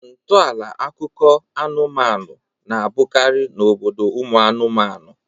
Ntọala akụkọ anụmanụ na-abụkarị n'obodo ụmụ anụmanụ